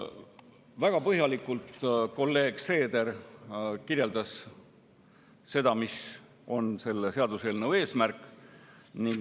Väga põhjalikult kirjeldas kolleeg Seeder seda, mis on selle seaduseelnõu eesmärk.